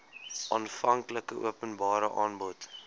aanvanklike openbare aanbod